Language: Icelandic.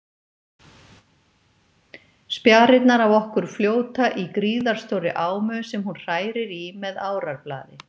Spjarirnar af okkur fljóta í gríðarstórri ámu sem hún hrærir í með árarblaði.